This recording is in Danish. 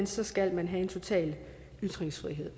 så skal man have en total ytringsfrihed